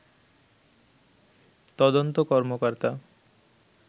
তদন্ত কর্মকর্তা